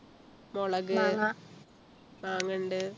മുളക് മാങ്ങണ്ട്